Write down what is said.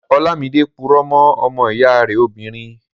Ọlámidé purọ́ mọ́ ọmọ ìyá rẹ̀ obìnrin